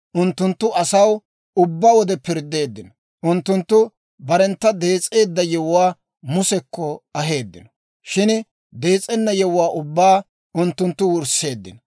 Unttunttu asaw ubbaa wode pirddeeddino; unttunttu barena dees'eedda yewuwaa Musekko aheeddino; shin dees'ena yewuwaa ubbaa unttunttu wursseeddino.